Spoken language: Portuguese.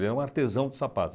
Ele era um artesão de sapatos.